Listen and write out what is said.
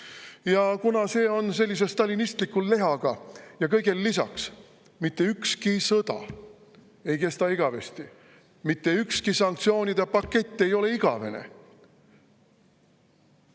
Ja kuna see on sellise stalinistliku lehaga, ja kõigele lisaks, mitte ükski sõda ei kesta igavesti, mitte ükski sanktsioonide pakett ei ole igavene.